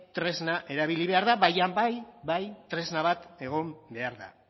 tresna erabili behar da baina bai bai tresna bat egon behar da